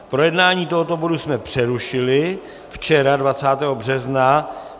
Projednání tohoto bodu jsme přerušili včera 20. března.